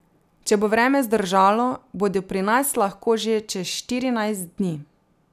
Če bo vreme zdržalo, bodo pri nas lahko že čez štirinajst dni.